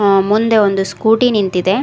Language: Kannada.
ಅ ಮುಂದೆ ಒಂದು ಸ್ಕೂಟಿ ನಿಂತಿದೆ.